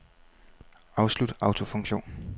Afslut autofunktion.